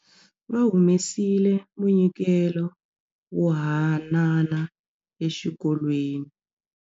Va humesile munyikelo wo hanana exikolweni.